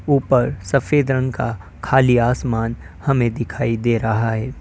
ऊपर सफेद रंग का खाली आसमान हमें दिखाई दे रहा है।